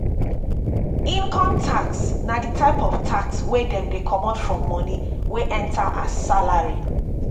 income tax na di type of tax wey dem dey comot form money wey enter as salary